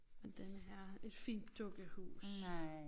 Men denne her et fint dukkehus